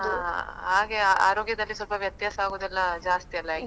ಅಹ್ ಹಾಗೆ ಆರೋಗ್ಯದಲ್ಲಿ ಸ್ವಲ್ಪ ವ್ಯತ್ಯಾಸ ಆಗೋದೆಲ್ಲ ಜಾಸ್ತಿಯಲ್ಲ ಈಗ.